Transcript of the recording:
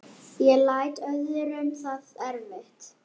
Ég læt öðrum það eftir.